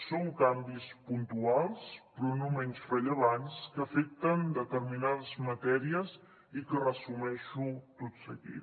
són canvis puntuals però no menys rellevants que afecten determinades matèries i que resumeixo tot seguit